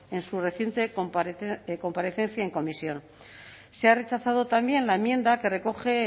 en su reciente comparecencia en comisión se ha rechazado también la enmienda que recoge